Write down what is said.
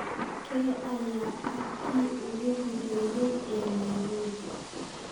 kee ayaa ah kii ugu horeeyay ee nairobi?